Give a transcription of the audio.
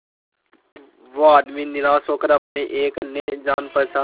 वो आदमी निराश होकर अपने एक अन्य जान पहचान